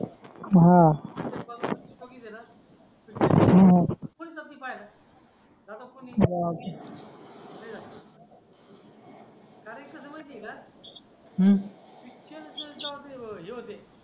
तो पिक्चर इतका बोरिंग आहे कोणीच जात नाही पाहायला ना कारण कसं आहे माहिती आहे का इतकं त्यांच्या बाबतीत हे होते